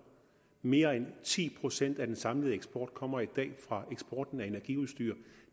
mere end ti procent af den samlede eksport kommer i dag fra eksporten af energiudstyr